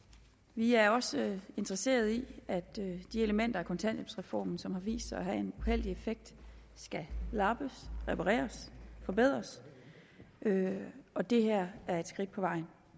vi er også interesseret i at de elementer af kontanthjælpsreformen som har vist sig at have en uheldig effekt skal lappes repareres forbedres og det her er et skridt på vejen